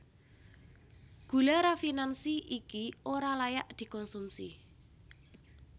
Gula rafinansi iki ora layak dikonsumsi